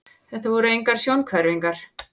Þetta voru engar sjónhverfingar.